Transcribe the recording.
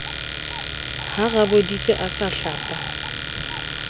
ha raboditse a sa hlapa